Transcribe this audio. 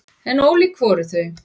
En ólík voru þau.